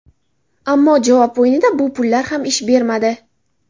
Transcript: Ammo javob o‘yinida bu pullar ham ish bermadi.